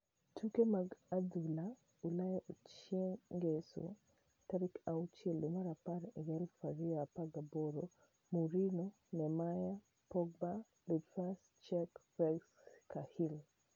Tuke mag adhula Ulaya chieng' Ngeso 06.10.2018: Mourinho, Neymar, Pogba, Loftus-Cheek, Fabregas, Cahill